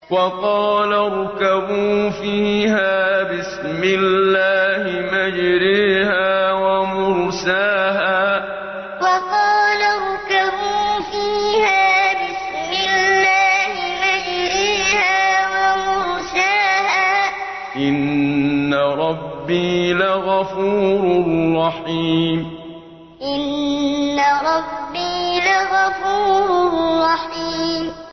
۞ وَقَالَ ارْكَبُوا فِيهَا بِسْمِ اللَّهِ مَجْرَاهَا وَمُرْسَاهَا ۚ إِنَّ رَبِّي لَغَفُورٌ رَّحِيمٌ ۞ وَقَالَ ارْكَبُوا فِيهَا بِسْمِ اللَّهِ مَجْرَاهَا وَمُرْسَاهَا ۚ إِنَّ رَبِّي لَغَفُورٌ رَّحِيمٌ